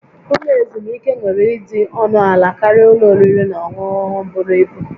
Ụlọ ezumike nwere ịdị ọnụ ala karịa ụlọ oriri na ọṅụṅụ buru ibu